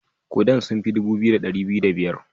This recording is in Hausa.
Kudan sun fi dubu biyu da dari biyu da biyar.